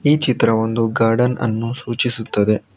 ಈ ಚಿತ್ರ ಒಂದು ಗಾರ್ಡನ್ ಅನ್ನು ಸೂಚಿಸುತ್ತದೆ.